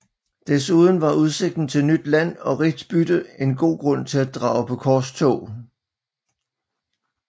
Desuden var udsigten til nyt land og rigt bytte en god grund til at drage på korstog